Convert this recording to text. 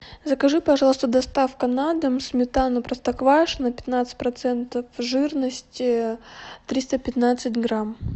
закажи пожалуйста доставка на дом сметану простоквашино пятнадцать процентов жирности триста пятнадцать грамм